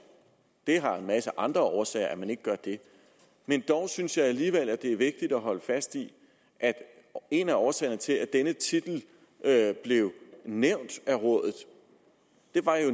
det har en masse andre årsager at man ikke gør det men dog synes jeg alligevel det er vigtigt at holde fast i at en af årsagerne til at denne titel blev nævnt af rådet jo